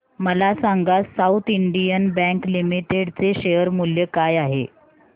मला सांगा south Indian bank limited चे शेअर मूल्य काय आहे